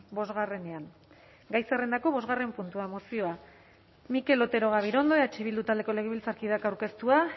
bosgarrenean gai zerrendako bosgarren puntua mozioa mikel otero gabirondo eh bildu taldeko legebiltzarkideak aurkeztua